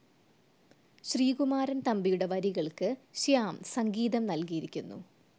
ശ്രീകുമാരൻ തമ്പിയുടെ വരികൾക്ക് ശ്യാം സംഗീതം നൽകിയിരിക്കുന്നു..